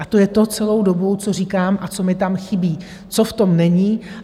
A to je to celou dobu, co říkám a co mi tam chybí, co v tom není.